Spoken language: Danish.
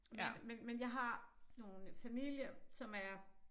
Men men men jeg har nogle familie som er